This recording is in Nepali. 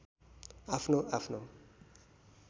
आफ्नो आफ्नो